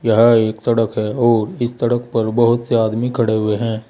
यह एक सड़क है और इस सड़क पर बहुत से आदमी खड़े हुए हैं।